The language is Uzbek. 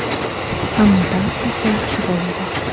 Ammo barchasi yaxshi bo‘ladi.